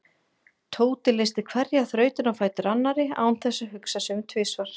Tóti leysti hverja þrautina á fætur annarri án þess að hugsa sig um tvisvar.